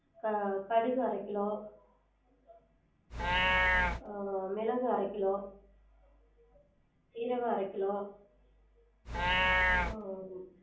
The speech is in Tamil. உம் கடுகு அரக்கிலோ உம் மெளகு அரக்கிலோ சீரகம் அரக்கிலோ உம்